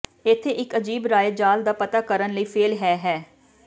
ਇੱਥੇ ਇੱਕ ਅਜੀਬ ਰਾਏ ਜਾਲ ਦਾ ਪਤਾ ਕਰਨ ਲਈ ਫੇਲ੍ਹ ਹੈ ਹੈ